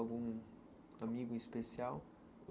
Algum amigo especial?